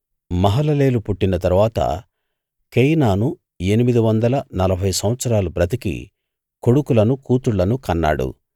మహలలేలు పుట్టిన తరువాత కేయినాను ఎనిమిది వందల నలభై సంవత్సరాలు బ్రతికి కొడుకులను కూతుళ్ళను కన్నాడు